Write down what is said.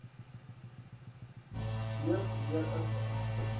beurt weer inpas